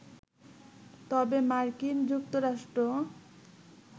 তবে মার্কিন যুক্তরাষ্ট্র